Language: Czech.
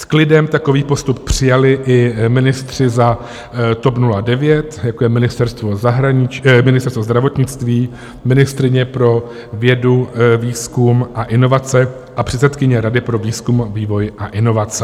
S klidem takový postup přijali i ministři za TOP 09, jako je Ministerstvo zdravotnictví, ministryně pro vědu, výzkum a inovace a předsedkyně Rady pro výzkum, vývoj a inovace.